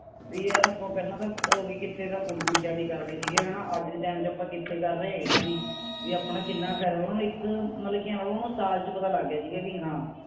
ਵੀ ਯਾਰ ਆਪਾਂ ਪਹਿਲਾਂ ਤਾਂ ਅਹ ਵੀ ਕਿਥੇ ਤਾਂ ਫੁੱਲ ਬੂਟਿਆਂ ਦੀ ਕਰਦੇ ਸੀ ਹਣਾ ਅੱਜ ਦੇ ਟਾਈਮ ਆਪਾਂ ਕਿਥੇ ਕਰ ਰਹੇ ਹਾਂ ਇਨ੍ਹਾਂ ਦੀ ਵੀ ਆਪਣਾ ਕਿੰਨਾ ਫਾਇਦਾ ਉਨ੍ਹਾਂਨੂੰ ਇਕ ਮਤਲਬ ਕਿ ਉਨ੍ਹਾਂਨੂੰ ਸਾਲ ਚ ਪਤਾ ਲੱਗ ਗਿਆ ਸੀ ਹਾਂ